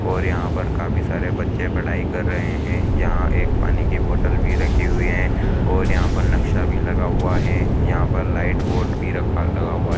और यहां पर काफी सारे बच्चे पढ़ाई कर रहे हैं यहां एक पानी की बॉटल भी रखी हुई हैं और यहां पर नक्शा भी लगा हुआ हैं यहां पर लाइट बोर्ड भी रखा लगा हुआ है।